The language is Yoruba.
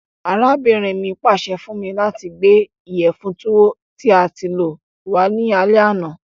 Arábìnrin mi pàse fun mi lati gbé ìyẹ̀fun Tuwo tí a ti lọ̀ wa ni alẹ àná.